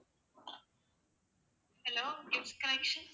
hello